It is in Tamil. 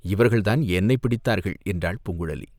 இவர்கள்தான் என்னைப் பிடித்தார்கள்!" என்றாள் பூங்குழலி.